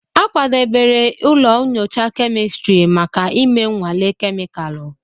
A kwadebere ụlọ nyocha kemịstiri maka ịme nnwale kemịkalụ.